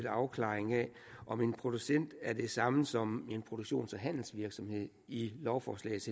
afklaring af om en producent er det samme som en produktions og handelsvirksomhed i lovforslagets